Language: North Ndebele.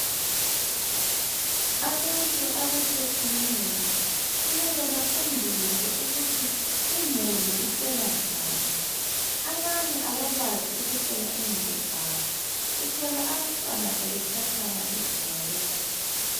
Abantu abathetheneyo kumele bafundiswe ukuthi imuli ihlelwa njani . Abanye abakwazi ukuhlela imuli zabo .Uthola abantwana sebetshatshama iguma lonke .